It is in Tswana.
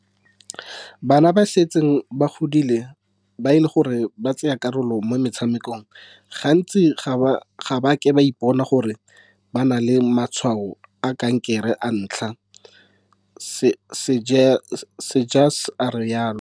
"Bana ba ba setseng ba godile ba e leng gore ba tsaya karolo mo metshamekong gantsi ga ba a ke ba ipona gore ba na le matshwao a kankere a ntlha," Seegers a rialo.